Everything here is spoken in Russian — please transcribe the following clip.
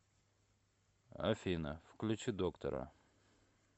афина включи доктора